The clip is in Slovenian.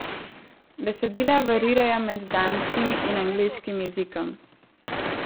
Besedila variirajo med danskim in angleškim jezikom.